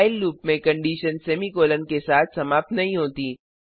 while loop में condition semicolon के साथ समाप्त नहीं होती